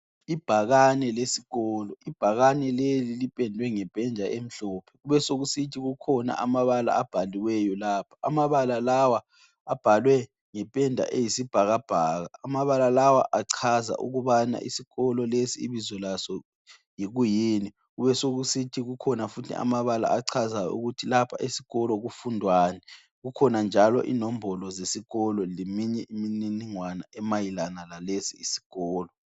Ibhakane lesikolo, ibhakane leli lipendwe ngependa emhlophe. Kubesekusithi kukhona amabala abhaliweyo lapha, amabala lawa abhalwe ngependa eyisibhakabhaka. Abala lawa achaza ukubana isikolo lesi ibizo laso yikuyini. Kubesekusithi kukhona futhi amabala achaza ukuthi lapha esikolo kufundwani. Kukhona njalo inombolo zesikolo lemininingwana emayelanga lalesi isikolo.